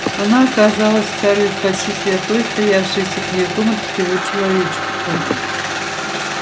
она казалась скарлетт почти святой стоявшей особняком от всего человечества